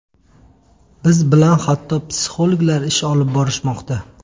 Biz bilan hatto psixologlar ish olib borishmoqda”.